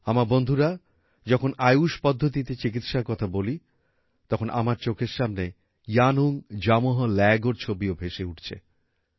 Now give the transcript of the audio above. আমার বন্ধুরা যখন আয়ুষ পদ্ধতিতে চিকিৎসার কথা বলি তখন আমার চোখের সামনে ইয়ানুং জামোহ্ ল্যাইগোর ছবিও ভেসে উঠছে